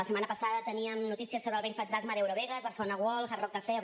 la setmana passada teníem notícies sobre el vell fantasma d’eurovegas barcelona world hard rock cafe o